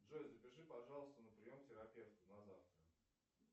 джой запиши пожалуйста на прием к терапевту на завтра